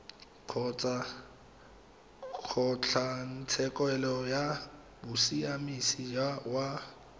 kgotsa kgotlatshekelo ya bosiamisi ya